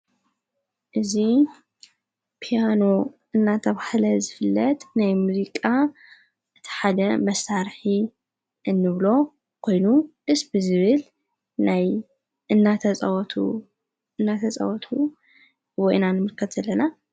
እዙ ፒያኖ እናተብህለ ዝፍለጥ ናይ ሙዚቃ እቲ ሓደ መሣርሒ እንብሎ ኾይኑ እስቢ ዝብል ናይ እናተጸወቱ ወዒናን ምርከት ዘለና እዮ።